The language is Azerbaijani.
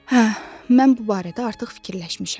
Hə, mən bu barədə artıq fikirləşmişəm.